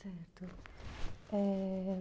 Certo. É...